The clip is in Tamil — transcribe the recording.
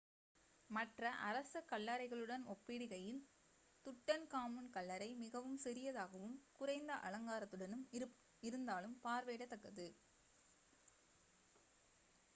மற்ற அரச கல்லறைகளுடன் ஒப்பிடுகையில் துட்டன்காமுன் கல்லறை மிகவும் சிறியதாகவும் குறைந்த அலங்காரத்துடன் இருந்தாலும் பார்வையிடத்தக்கது